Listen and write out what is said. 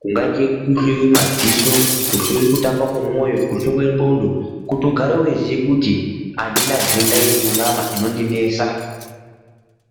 kungaite kuhloiwa madziso kuhloiwa kutamba kwemoyo kuhloiwa nglondo kuti ugare weiziva kuti andina ndenda iri munyama inondinesa